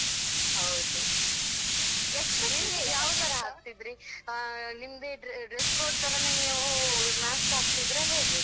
ಹೌದು ನೀವ್ ಯಾವ್ ತರ ಹಾಕ್ತಿದ್ರಿ ಹಾ ನಿಮ್ದೇ dress code ತರನೇ ನೀವು ಅಹ್ mask ಹಾಕ್ತಿದ್ರಾ ಹೇಗೆ?